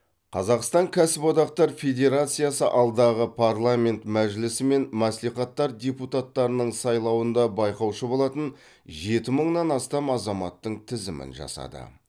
қазақстан кәсіподақтар федерациясы алдағы парламент мәжілісі мен мәслихаттар депутаттарының сайлауында байқаушы болатын жеті мыңнан астам азаматтың тізімін жасады